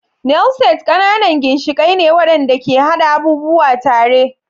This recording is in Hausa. Nail Set ƙananan ginshiƙai ne waɗanda ke haɗa abubuwa tare.